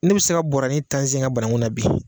Ne bɛ se ka bɔrɔni tan sen ŋa banaŋu nabi